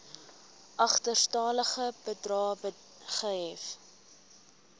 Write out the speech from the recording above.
agterstallige bedrae gehef